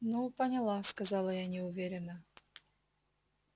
ну поняла сказала я неуверенно